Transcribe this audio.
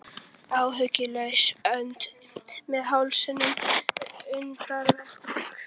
Áhyggjulaus önd með hausinn undir væng.